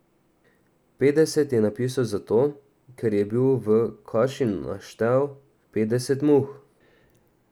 Petdeset je napisal zato, ker je bil v kaši naštel petdeset muh.